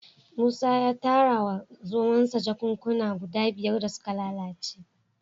Musa ya tara wa zomonsa jakunkuna guda biyar da suka lalace